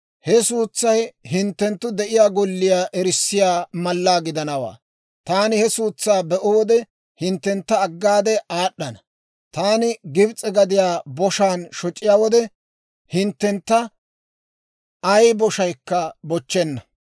He suutsay hinttenttu de'iyaa golliyaa erissiyaa mallaa gidanawaa. Taani he suutsaa be'o wode, hinttentta aggaade aad'd'ana; taani Gibs'e gadiyaa boshaan shoc'iyaa wode, hinttentta ay boshaykka bochchenna.